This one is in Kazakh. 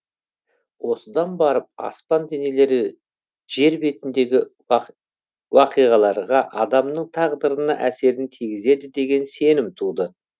осыдан барып аспан денелері жер бетіндегі уақиғаларға адамның тағдырына әсерін тигізеді деген сенім туды